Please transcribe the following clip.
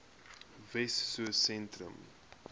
wessosentrum